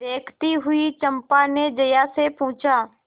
देखती हुई चंपा ने जया से पूछा